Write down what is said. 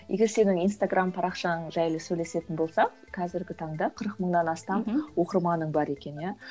егер сенің инстаграмм парақшаң жайлы сөйлесетін болсақ қазіргі таңда қырық мыңнан астам мхм оқырманың бар екен иә